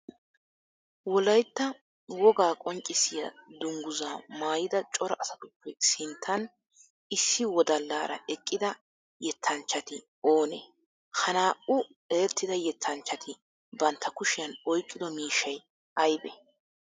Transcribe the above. Wolaytta wogaa qonccissiya dungguza maayidda cora asatuppe sinttan issi wodallaara eqqidda yettanchchatti oone? Ha naa'u erettida yettanchchatti bantta kushiyan oyqqido miishshay aybee?